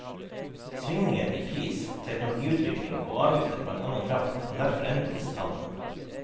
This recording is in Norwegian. Svingninger i pris, teknologiutvikling og avgifter på annen kraft kan derfor endre disse tallene.